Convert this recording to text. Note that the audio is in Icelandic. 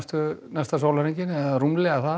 næsta sólarhringinn og rúmlega það